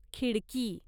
खिडकी